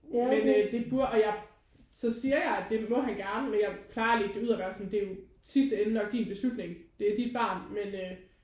Men øh det burde og jeg så siger jeg at det må han gerne men jeg plejer at ligge det ud og være sådan det er i sidste ende jo nok din beslutning det er dit barn men øh